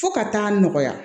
Fo ka taa nɔgɔya